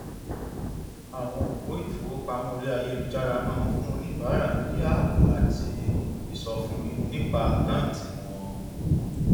àwọn òpó ìfowópamọ orí ayélujára máa ń fún oníbàárà ní ààbò àti ìsọfúnni nípa àkáǹtì wọn